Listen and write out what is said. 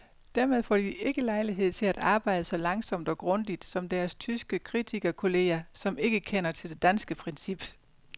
Dermed får de ikke lejlighed til at arbejde så langsomt og grundigt som deres tyske kritikerkolleger, som ikke kender til det danske princip.